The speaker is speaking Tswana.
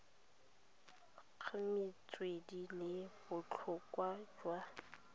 ga metswedi le botlhokwa jwa